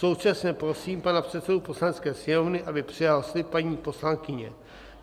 Současně prosím pana předsedu Poslanecké sněmovny, aby přijal slib paní poslankyně.